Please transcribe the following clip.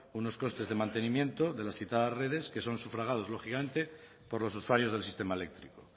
unos costes de mantenimiento de las citadas redes que son sufragados lógicamente por los usuarios del sistema eléctrico